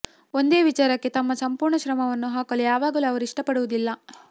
ಒಂದೇ ವಿಚಾರಕ್ಕೆ ತಮ್ಮ ಸಂಪೂರ್ಣ ಶ್ರಮವನ್ನು ಹಾಕಲು ಯಾವಾಗಲೂ ಅವರು ಇಷ್ಟಪಡುವುದಿಲ್ಲ